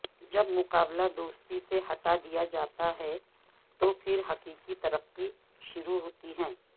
جب مقابلہ دوستی سے ہٹا دیا جاتا ہے تو پھر حقیقی ترقی شروع ہوتی ہے